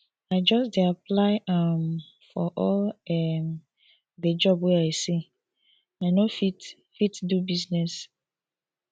i just dey apply um for all um di job wey i see i no fit fit do business